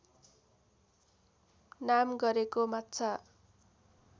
नाम गरेको माछा